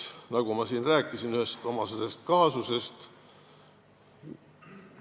Ma siin rääkisin ühest oma kaasusest.